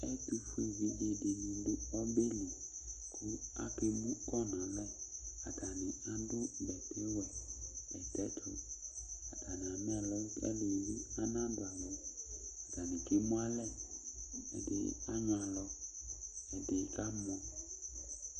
Ɛtʋfʋe evidzeɖìŋí ɖu ɔbɛli kʋ akemukɔ ŋu alɛ Ataŋi amɛ ɛlɔ Ataŋi kemualɛ Ɛɖìní anyʋɛ alɔ kʋ ɛɖìní kamɔ